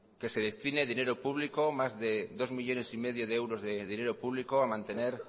que se destine dinero público más de dos millónes y medio de euros de dinero público a mantener